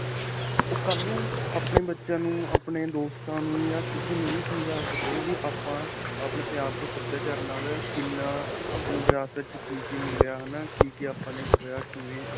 ਓਹ ਕਲ੍ਹ ਨੂੰ ਆਪਣੇ ਬੱਚਿਆਂ ਨੂੰ ਆਪਣੇ ਦੋਸਤਾਂ ਨੂੰ ਜਾਂ ਕਿਸੇ ਨੂੰ ਵੀ ਸਮਝਾ ਸਕੇ ਵੀ ਆਪਾਂ ਆਪਣੇ ਪੰਜਾਬ ਦੇ ਸਭਿਆਚਾਰ ਨਾਲ ਕਿੰਨਾ ਆਪਾਂ ਨੂੰ ਵਿਰਾਸਤ 'ਚ ਕੀ-ਕੀ ਮਿਲਿਆ ਹੈ ਨਾ. ਕੀ-ਕੀ ਆਪਾਂ ਨੇ ਖੋਇਆ.